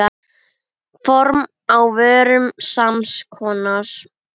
Form á vörum sams konar.